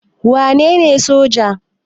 Wa nene soja?